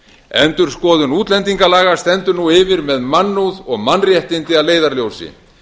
endurskoðun útlendingalaga stendur nú yfir með mannúð og mannréttindi að leiðarljósi